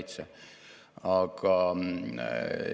Meie stardikoht on umbes kuuendiku jagu Euroopa Liidu keskmisest allpool.